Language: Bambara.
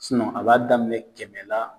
a b'a daminɛ kɛmɛ la